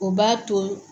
O b'a to